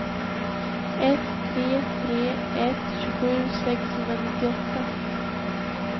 ett tre tre ett tjugosju sexhundranittioåtta